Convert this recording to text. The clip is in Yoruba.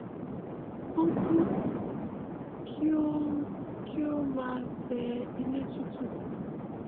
ó ku kí ó kí ó máa tẹ ilẹ tútù